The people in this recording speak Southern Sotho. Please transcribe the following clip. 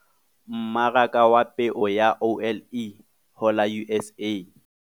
MMARAKA WA PEO YA OLE HO LA USA